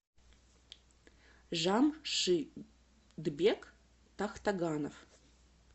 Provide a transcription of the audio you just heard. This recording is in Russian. жамшидбек тахтаганов